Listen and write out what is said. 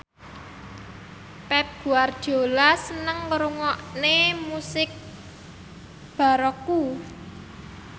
Pep Guardiola seneng ngrungokne musik baroque